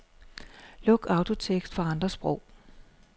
Luk autotekst for andre sprog.